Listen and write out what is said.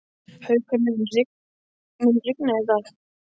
Haukur, mun rigna í dag?